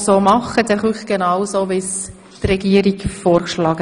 Sind Sie damit einverstanden?